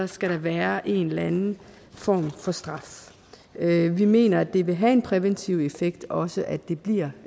skal der være en eller anden form for straf vi mener det vil have en præventiv effekt også at det bliver